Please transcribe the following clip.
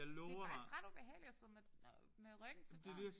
Det er faktisk ret ubehageligt at sidde med med ryggen til døren